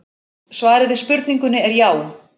Svarið við spurningunni er já.